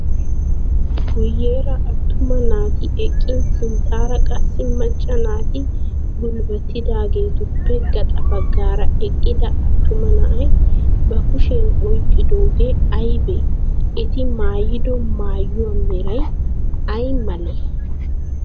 Guyyeera attuma naati eqqin sinttaara qassi macca naati gulbbatidaageetuppe gaxa baggaara eqqida attuma na"ay ba kushiyan oyqqidoogee aybee? Eti maayido maayuwa meray ay malee?